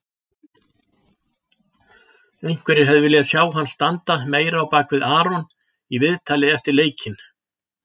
Einhverjir hefðu viljað sjá hann standa meira á bakvið Aron í viðtali eftir leikinn.